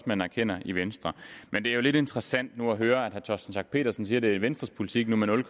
man erkender i venstre men det er jo lidt interessant nu at høre herre torsten schack pedersen sige at det er venstres politik med nul